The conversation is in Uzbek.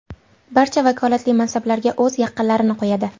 Barcha vakolatli mansablarga o‘z yaqinlarini qo‘yadi.